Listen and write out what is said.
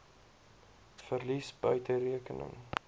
verlies buite rekening